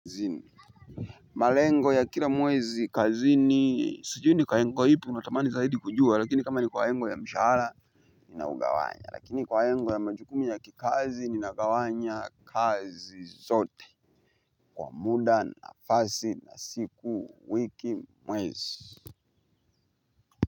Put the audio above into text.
Malengo ya kila mwezi kazini sujui ni kwa lengo ya ipi unatamani zaidi kujua lakini kama ni kwa lengo ya mshahara ninaugawanya lakini kwa lengo ya majukumu ya kikazi ninagawanya kazi zote kwa mda nafasi na siku wiki mwezi.